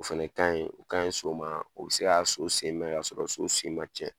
O fɛnɛ ka ɲi o ka ɲi so sen ma o bɛ se k'a so sen mɛn k'a sɔrɔ so sen ma cɛn